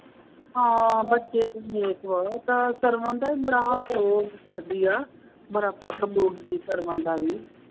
ਹਾਂ ਬੱਚੇ ਤਾਂ ਨੇਕ ਬਹੁਤ ਹੈ, ਬੜਾ ਅਫਸੋਸ ਕਰਦੀ ਹੈ, ਬੜਾ ਬੋਲਦੀ ਵੀ